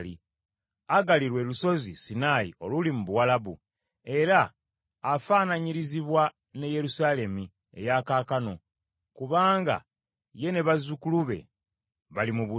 Agali lwe Lusozi Sinaayi oluli mu Buwalabu, era afaananyirizibwa ne Yerusaalemi eya kaakano kubanga ye ne bazzukulu be bali mu buddu.